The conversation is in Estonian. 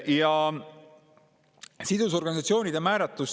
Ja sidusorganisatsioonide määratlus.